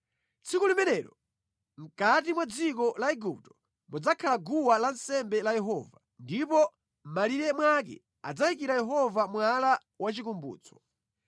Tsiku limenelo mʼkati mwa dziko la Igupto mudzakhala guwa lansembe la Yehova, ndipo mʼmalire mwake adzayikira Yehova mwala wachikumbutso.